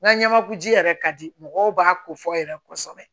N ka ɲamaku ji yɛrɛ ka di mɔgɔw b'a ko fɔ yɛrɛ kosɛbɛ